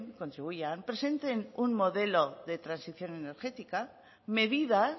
contribuyan presenten un modelo de transición energética medidas